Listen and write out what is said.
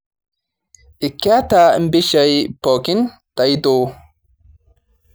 Keeta mpishai pookin taito